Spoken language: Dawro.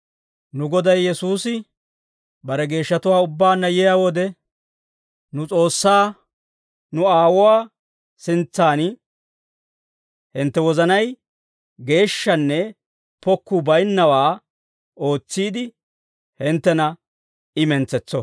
Nu Goday Yesuusi bare geeshshatuwaa ubbaanna yiyaa wode, nu S'oossaa, nu aawuwaa sintsan hintte wozanay geeshshanne pokkuu baynnawaa ootsiide, hinttena I mentsetso.